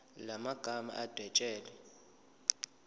la magama adwetshelwe